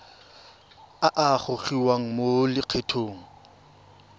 a a gogiwang mo lokgethong